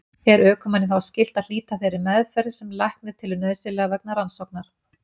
Er ökumanni þá skylt að hlíta þeirri meðferð sem læknir telur nauðsynlega vegna rannsóknar.